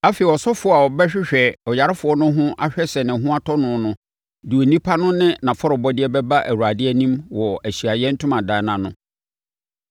Afei ɔsɔfoɔ a ɔbɛhwehwɛ ɔyarefoɔ no ho ahwɛ sɛ ne ho atɔ no no de onipa no ne nʼafɔrebɔdeɛ bɛba Awurade anim wɔ Ahyiaeɛ Ntomadan no ano.